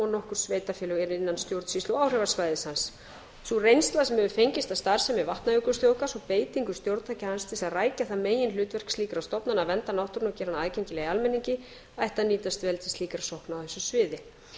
nokkur sveitarfélög eru innan stjórnsýslu áhrifasvæðis hans sú reynsla sem hefur fengist af starfsemi vatnajökulsþjóðgarð og beitingu stjórntækja hans til að rækja það meginhlutverk slíkra stofnana að vernda náttúruna og gera hana aðgengilega almenningi ætti að nýtast vel slíkra sókna á þessu sviði